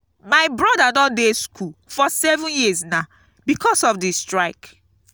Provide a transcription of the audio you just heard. my broda don dey school for seven years now because of the strike